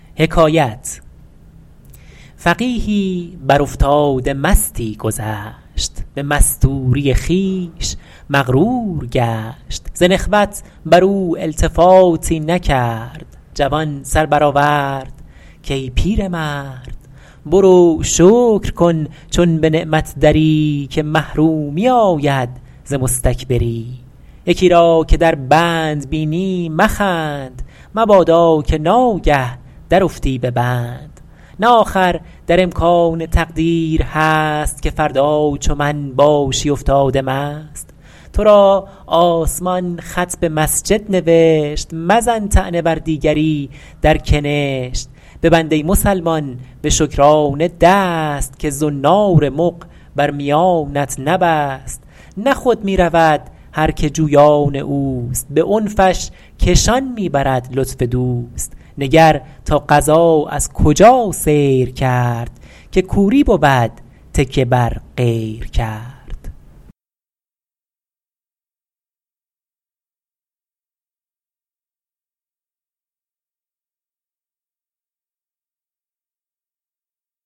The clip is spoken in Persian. فقیهی بر افتاده مستی گذشت به مستوری خویش مغرور گشت ز نخوت بر او التفاتی نکرد جوان سر برآورد کای پیرمرد برو شکر کن چون به نعمت دری که محرومی آید ز مستکبری یکی را که در بند بینی مخند مبادا که ناگه درافتی به بند نه آخر در امکان تقدیر هست که فردا چو من باشی افتاده مست تو را آسمان خط به مسجد نوشت مزن طعنه بر دیگری در کنشت ببند ای مسلمان به شکرانه دست که زنار مغ بر میانت نبست نه خود می رود هر که جویان اوست به عنفش کشان می برد لطف دوست نگر تا قضا از کجا سیر کرد که کوری بود تکیه بر غیر کرد